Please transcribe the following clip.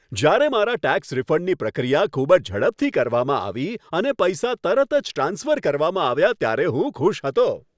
જ્યારે મારા ટેક્સ રિફંડની પ્રક્રિયા ખૂબ જ ઝડપથી કરવામાં આવી અને પૈસા તરત જ ટ્રાન્સફર કરવામાં આવ્યા ત્યારે હું ખુશ હતો.